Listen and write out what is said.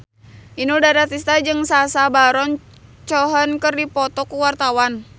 Inul Daratista jeung Sacha Baron Cohen keur dipoto ku wartawan